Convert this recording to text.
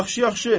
Yaxşı, yaxşı.